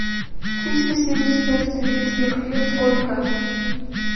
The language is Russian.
триста семьдесят пять турецких лир сколько